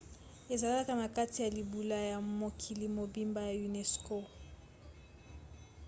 ezalaka na kati ya libula ya mokili mobimba ya unesco